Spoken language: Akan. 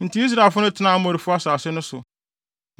Enti Israelfo no tenaa Amorifo asase no so.